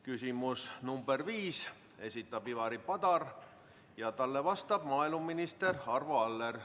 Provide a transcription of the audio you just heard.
Küsimuse nr 5 esitab Ivari Padar ja talle vastab maaeluminister Arvo Aller.